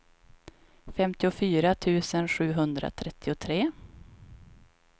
femtiofyra tusen sjuhundratrettiotre